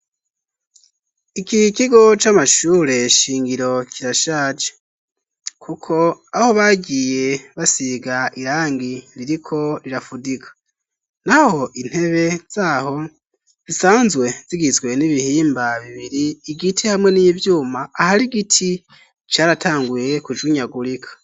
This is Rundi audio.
Iki kigo c'amashure shingiro kirashaje, kuko aho bagiye basiga irangi ririko rirafudika, naho intebe zaho zisanzwe zigizwe n'ibihimba bibiri igiti hamwe n'ivyuma ahari igiti caratanguye kujinyagurika.